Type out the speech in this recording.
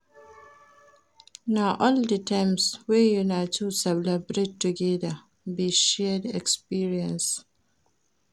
Na all di times wey una two celebrate togeda, be shared experience.